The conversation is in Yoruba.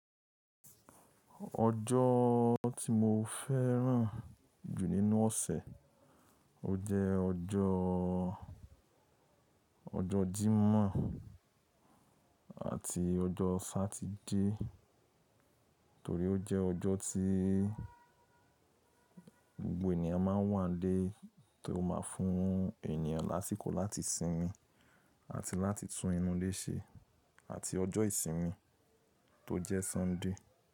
Ọjọ́ tí mo fẹ́ràn jù nínú ọ̀sẹ̀, ó jẹ́ ọjọ́ ọjọ́ Jímọ̀ àti ọjọ́ Satidé torí ó jẹ́ ọjọ́ tí gbogbo ènìyàn má ń wá n lé tó máa fún ènìyàn lásíkò láti sinmi àti láti tún inú ilé ṣe àti ọjọ́ ìsinmi tó jẹ́ Sunday.